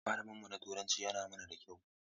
Malamin mu na Turanci yana mana da kyau.